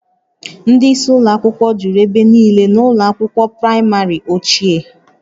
Ndị isi ụlọ akwụkwọ juru ebe niile na ụlọ akwụkwọ praịmarị ochie